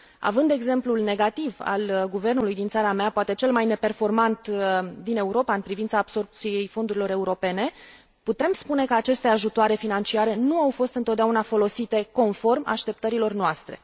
Având exemplul negativ al guvernului din țara mea, poate cel mai neperformant din Europa în privința absorbției fondurilor europene, putem spune că aceste ajutoare financiare nu au fost întotdeauna folosite conform așteptărilor noastre.